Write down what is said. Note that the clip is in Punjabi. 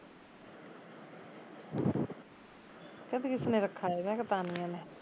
ਕਹਿੰਦੇ ਕਿਸਨੇ ਰਖਾਇਆ ਮੈਂ ਕਿਹਾਂ ਤਾਨੀਆ ਨੇ